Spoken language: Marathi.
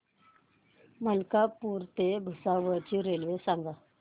मलकापूर ते भुसावळ ची रेल्वे सांगा